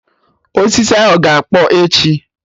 Osisi ahụ ga-akpọ echi